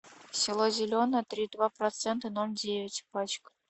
село зеленое три и два процента ноль девять пачка